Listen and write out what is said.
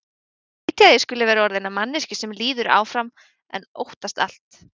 Skrýtið að ég skuli vera orðin að manneskju sem líður áfram en óttast allt.